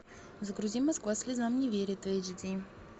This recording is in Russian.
загрузи москва слезам не верит в эйч ди